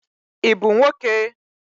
I bụ nwoke?